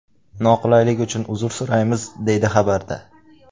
Noqulaylik uchun uzr so‘raymiz”, deyiladi xabarda.